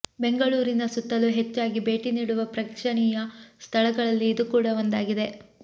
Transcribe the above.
ಬೆಂಗಳೂರಿನ ಸುತ್ತಲೂ ಹೆಚ್ಚಾಗಿ ಭೇಟಿ ನೀಡುವ ಪ್ರೇಕ್ಷಣೀಯ ಸ್ಥಳಗಳಲ್ಲಿ ಇದು ಕೂಡ ಒಂದಾಗಿದೆ